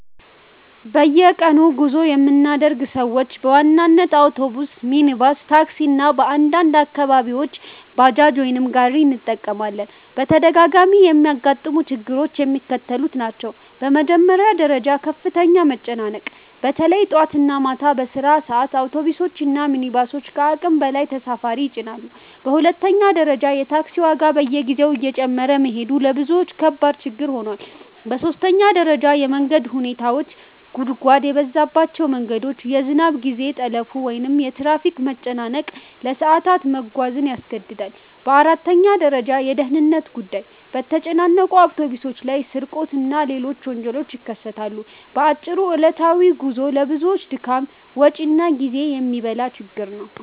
በየቀኑ ጉዞ የምናደርግ ሰዎች በዋናነት አውቶቡስ፣ ሚኒባስ (ታክሲ) እና በአንዳንድ አካባቢዎች ባጃጅ ወይም ጋሪ እንጠቀማለን። በተደጋጋሚ የሚያጋጥሙ ችግሮች የሚከተሉት ናቸው፦ በመጀመሪያ ደረጃ ከፍተኛ መጨናነቅ – በተለይ ጠዋት እና ማታ በስራ ሰዓት አውቶቡሶች እና ሚኒባሶች ከአቅም በላይ ተሳፋሪ ይጭናሉ። በሁለተኛ ደረጃ የታክሲ ዋጋ በየጊዜው እየጨመረ መሄዱ ለብዙዎች ከባድ ችግር ሆኗል። በሦስተኛ ደረጃ የመንገድ ሁኔታዎች – ጉድጓድ የበዛባቸው መንገዶች፣ የዝናብ ጊዜ ጠለፋ ወይም የትራፊክ መጨናነቅ ለሰዓታት መጓዝን ያስገድዳል። በአራተኛ ደረጃ የደህንነት ጉዳይ – በተጨናነቁ አውቶቡሶች ላይ ስርቆት እና ሌሎች ወንጀሎች ይከሰታሉ። በአጭሩ ዕለታዊ ጉዞው ለብዙዎች ድካም፣ ወጪ እና ጊዜ የሚበላ ችግር ነው።